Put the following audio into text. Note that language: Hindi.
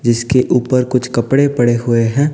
जिसके ऊपर कुछ कपड़े पड़े हुए हैं।